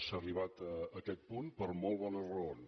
s’ha arribat a aquest punt per molt bones raons